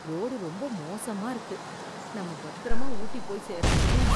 Road ரொம்ப மோசமா இருக்கு, நம்ம பத்திரமா ஊட்டி போய் சேரணுமே.